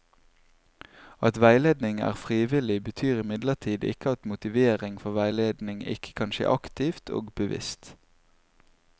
At veiledningen er frivillig, betyr imidlertid ikke at motivering for veiledning ikke kan skje aktivt og bevisst.